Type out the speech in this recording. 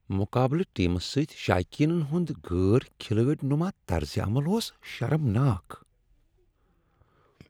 مقابلہٕ ٹیمس سٕتۍ شایقینن ہند غیر کھلٲڑۍ نما طرز عمل اوس شرمناک۔